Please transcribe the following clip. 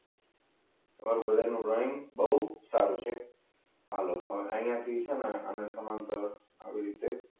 તમારા બધાનો ડ્રોઈંગ બહુ સારું છે. હાલો અહીંયા થી છે ને આને સમાંતર આવી રીતે